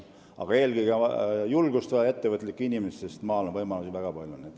Aga eelkõige on vaja julgust ettevõtlikele inimestele, sest maal on võimalusi väga palju.